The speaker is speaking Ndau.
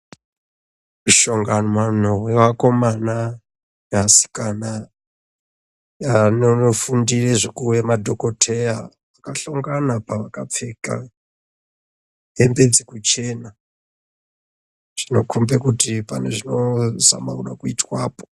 Mishongano wevakomana neasikana anonofundire zvekuve madhokoteya anihlongana pavakapfeke hembe dzekuchena. Zvinokombe kuti pane zvinozama kuda kuitwapo.